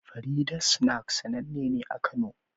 Farida's snacks sannane ne a kano